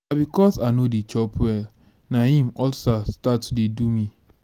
na because i no dey chop well na im ulcer start to dey do me